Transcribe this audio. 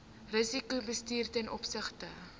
risikobestuur ten opsigte